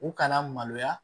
U kana maloya